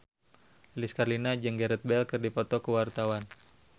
Lilis Karlina jeung Gareth Bale keur dipoto ku wartawan